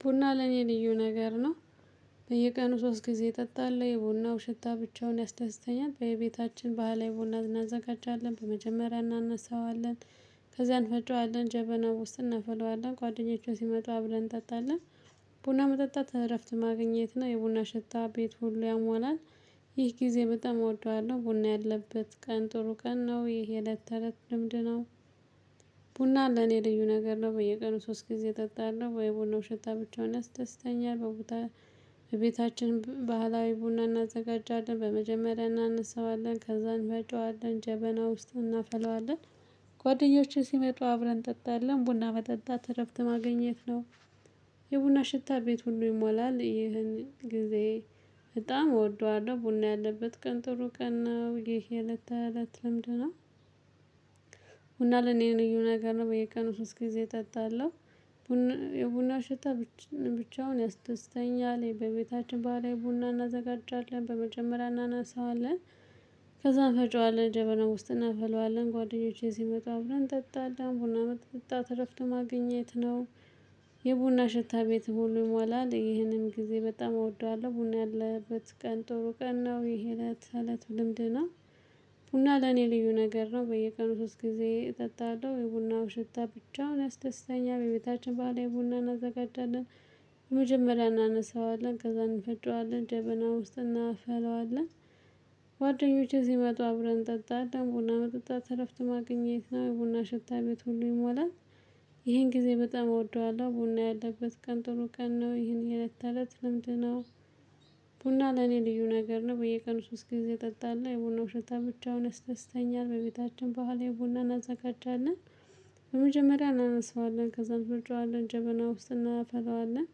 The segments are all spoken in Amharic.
ቡና ለኔ ልዩ ነገር ነው። በየቀኑ ሶስት ጊዜ እጠጣለሁ የቡናው ሽታ ብቻውን ያስደስተኛል በቤታችን በሃላዊ ቡና እናዘጋጃለን በመጀመሪያ እናነሳዋለን። ከዚያ እንፈጫዋለን ጀበናው ውስጥ እናፈለዋለን ጓደኞቻችን ሲመጡ አብረን እንጠጣለን። ቡና መጠጣት እረፍት ማግኘት ነው። የቡና ሽታ ቤት ሁሉ ያሟላል። ይህ ጊዜ በጣም እወደዋለሁ ቡና ያለበት ቀን ጥሩ ቀን ነው። ይሄ እለት ተለት ልምድ ነው። ቡና ለኔ ልዩ ነገር ነው። በየቀኑ ሶስት ጊዜ እጠጣለሁ የቡናው ሸታ ብቻውን ያስደስተኛል በቦታ በቤታችን ባህላዊ ቡና እናዘጋጃለን በመጀመሪያ እናነሳዋለን ከዛ እንፈጨዋለን ጀበና ውስጥ እናፈለዋለን። ጓደኞቼ ሲመጡ አብረን እንጠጣለን ቡና መጠጣት እረፍት ማግኘት ነው። የቡና ሽታ ቤት ሁሉ ይሞላል። ይህን ጊዜ በጣም እወደዋለሁ ቡና ያለበት ቀን ጥሩ ቀን ነው። ይሄ የለት የለት ልምድ ነው። ቡና ለኔ ልዩ ነገር ነው። በየቀኑ ሶስት ጊዜ እጠጣለሁ። ቡና የቡና ሽታ ብቻውን ያስደስተኛል በቤታችን ባህላዊ ቡና እናዘጋጃለን በመጀመሪያ እናናስዋለን። ከዛም እንፈጨዋለን ጀበና ውስጥ እናፈለዋለን ጓደኞቼ ሲመጣ ብለን አብረነ እንጠጣለን ቡና መጠጣ እረፍት ማግኘት ነው። የቡና ሽታ ቤት ሁሉ ይሞላል። ይህንን ጊዜ በጣም እወደዋለሁ ቡና ያለበት ቀን ጥሩ ቀን ነው። ይሄ እለት ተእለት ልምድ ነው። ቡና ለኔ ልዩ ነገር ነው። በየቀኑ ሶስት ጊዜ እጠጣለሁ የቡናው ሽታ ብቻውን ያስደስተኛል በቤታችን ባህላዊ ቡና እናዘጋጃለን። መጀመሪያ እናነሳዋለን ከዛ እንፈጨዋለን ጀበና ውስጥ እናፈለዋለን። ጓደኞቼ ሲመጡ አብረን እንጠጣለን ቡና መጠጣት ትረፍት ማግኘት ነው። የቡና ሽታ ቤት ሁሉ ይሞላል። ይሄን ጊዜ በጣም እወደዋለሁ ቡና ያለበት ቀን ጥሩ ቀን ነው። ይሄን የለት ተእለት ልምድ ነው። ቡና ለኔ ልዩ ነገር ነው። በየቀኑ ሶስት ጊዜ ጠጣለሁ የቡናእ ሽታ ብቻውን ያስደስተኛል በቤታችን በህላዊ የቡናን እናዘጋጃለን። በመጀመሪያ እናነሳዋለን ከዛም እንፈጨዋለን ጀበና ውስጥ እናፈለዋለን።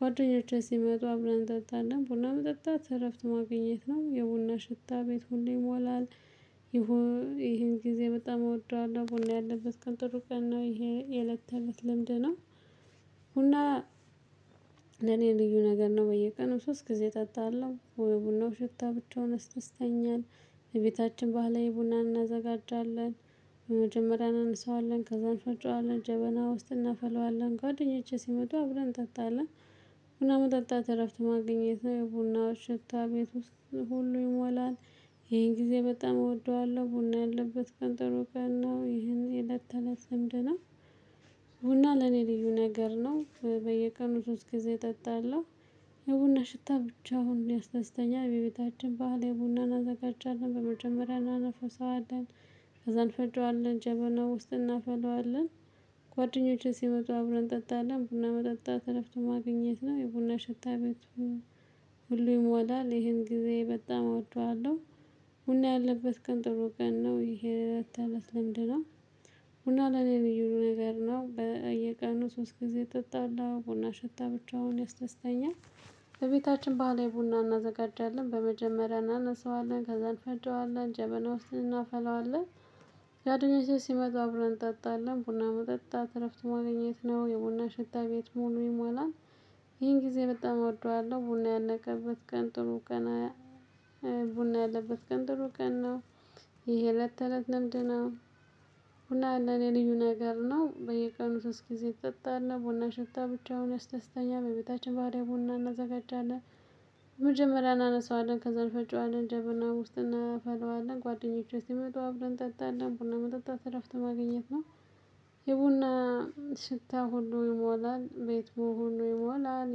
ጓደኞቼ ሲመጡ አብረን እንጠጣለን ቡና መጠጣት እረፍት ማግኘት ነው። የቡና ሽታ ቤት ሁሉ ይሞላል። ይሄን ጊዜ በጣም እወደዋለሁ ቡና ያለበት ቀን ጥሩ ቀን ነው። ይሄ የእልት ተእለት ልምድ ነው። ቡና ለኔ ልዩ ነገር ነው። በየቀኑ ሶስት ጊዜ ጠጣለሁ ቡናው ሽታ ብቻውን ያስደስተኛል። እቤታችን ባህላዊ ቡና እናዘጋጃለን። በመጀመሪያ እናነሳዋለን ከዛ እንፈጫዋለን ጀበና ውስጥ እናፈለዋለን ጓደኛቼ ሲመጡ አብረን እንጠጣለን። ቡና መጠጣት እረፍት ማግኘት ነው። ያው ቡናው ሽታ ቤት ውስጥ ሁሉ ይሞላል። ይሄን ጊዜ በጣም እወደዋለሁ ቡና ያለበት ቀን ጥሩ ቀን ነው። ይሄን የእለት ተእለት ልምድ ነው። ቡና ለኔ ልዩ ነገር ነው። በየቀኑ ሶስት ጊዜ እጠጣለሁ። የቡና ሽታ ብቻውን ያስደስተኛ በቤታችን ባህላዊ ቡና አናዘጋጃለን በመጀመሪያ እናነፍሰዋለን። ከዛ እንፈጨዋለን ጀበና ውስጥ እናፈላዋለን። ጓደኞቼ ሲመጡ አብረን እንጠጣለን ቡና መጠጣት እረፍት ማግኘት ነው። የቡና ሽታ ቤቱ ሁሉ ይሞላል። ይሄን ጊዜ በጣም እወደዋለሁ ቡና ያለበት ቀን ጥሩ ቀን ነው። ይሄ እለት ተእለት ለምድ ነው። ቡና ለኔ ልዩ ነገር ነው። በቤታችን ባህላዊ ቡና እናዘጋጃለን በመጀመሪያ እናነሳዋለን ከዛ እንፈጨዋለን ጀበና ውስጥ እናፈላዋለን። ጓደኞቼ ሲመጡ አብረን እንጠጣለን ቡና መጠጣት እረፍት ማገኘት ነው። የቡና ሽታ ቤት ሙሉ ይሞላል። ይሄን ጊዜ በጣም እወደዋለሁ ቡና ያለቀበት ቀን ጥሩ ቀን ቡና ያለበት ቀን ጥሩ ቀን ነው። ይሄ እለት ተእለት ልምድ ነው። ቡና ለኔ ልዩ ነገር ነው። በየቀኑ ሶስት ጊዜ እጠጣለው ቡና ሽታ ብቻውን ያስደስተኛል በቤታችን ባህላዊ ቡና እናዘጋጃለን። በመጀመሪያ እናነሳዋለን ከዛ እንፈጭዋለን ጀብና ውስጥ እናፈለዋለን ጓደኞቼ ሲመጡ አብረን እንጠጣለን ቡና መጠጣት እረፍት ማግኘት ነው። የቡና ሽታ ሁሉ ይሞላል። ቤት በሙሉ ይሞላል።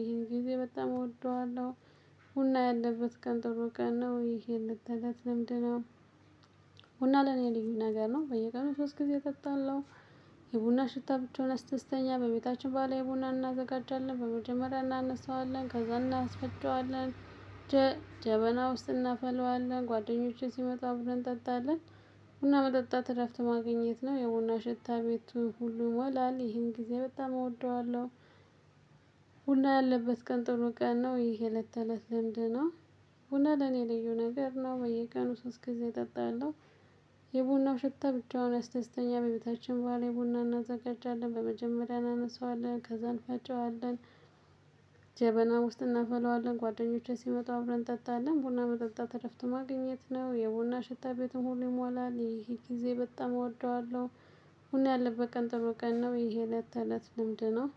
ይሄን ጊዜ በጣም እወደዋለሁ ቡና ያለበት ቀን ጥሩ ቀን ነው። ይሄን እለት ተእለት ለምድ ነው። ቡና ለኔ ልዩ ነገር ነው። በየቀኑ ሶስት ጊዜ እጠጣለሁ። የቡና ሽታ ብቻውን ያስደስተኛል በቤታችን ባህላዊ ቡና እናዘጋጃለን በመጀመሪያ እናነሳዋለን ከዛ እናስፈጨዋለን። ጀበና ውስጥ እናፈለዋለን ጓደኞቼ ሲመጡ አብረን እንጠጣለን። ቡና መጠጣት እረፍት ማግኘት ነው። የቡና ሽታ ቤቱ ሁሉ ይሞላል። ይሄን ጊዜ በጣም እወደዋለሁ ቡና ያለበት ቀን ጥሩ ቀን ነው። ይሄ እለት ተእለት ልምድ ነው። ቡና ለኔ ለዩ ነገር ነው። በየቀኑ ሶስት ጊዜ እጠጣለው። የቡናው ሽታ ብቻውን ያስደስተኛል በቤታችን በሃላዊ ቡና እናዘጋጃለን በመጀመሪያ እናነሳዋለን ከዛ እንፈጨዋለን። ጀበናው ውስጥ እናፈለዋለን ጓደኞቼ ሲመጡ አብረን እንጠጣለን ቦና መጠጣት እረፍት ማግኘት ነው። የቡና ሽታ ቤትን ሁሉ ይሞላል። ይሄ ጊዜ በጣም እወደዋለሁ። አሁን ያለበት ቀን ጥሩ ቀን ነው። ይሄ እለት ተእለት ልምድ ነው።